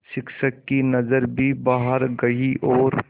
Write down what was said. शिक्षक की नज़र भी बाहर गई और